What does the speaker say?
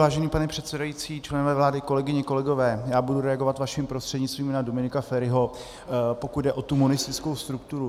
Vážený pane předsedající, členové vlády, kolegyně, kolegové, já budu reagovat vaším prostřednictvím na Dominika Feriho, pokud jde o tu monistickou strukturu.